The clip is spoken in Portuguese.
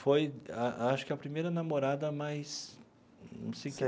Foi a acho que a primeira namorada mais.